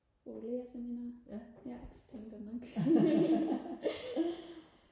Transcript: på lægerseminaret ja det tænkte jeg nok